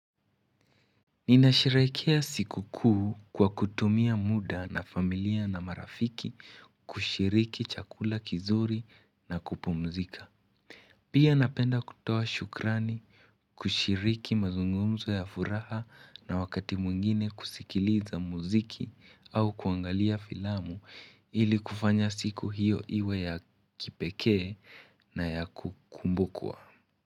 Ninasherekea siku kuu kwa kutumia muda na familia na marafiki kushiriki chakula kizuri na kupumzika. Pia napenda kutoa shukrani kushiriki mazungumzo ya furaha na wakati mwingine kusikiliza muziki au kuangalia filamu ili kufanya siku hiyo iwe ya kipekee na ya kukumbukwa.